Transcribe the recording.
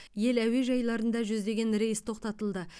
ел әуежайларында жүздеген рейс тоқтатылды